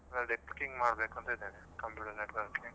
ಅದೇ, networking ಮಾಡಬೇಕು ಅಂತ ಇದ್ದೇನೆ, computer networking .